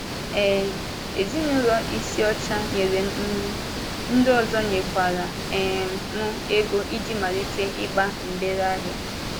um Ezinụlọ Isiocha nyere m nri, ndị ọzọ nyekwara um m ego iji malite ịgba mgbèrè ahịa.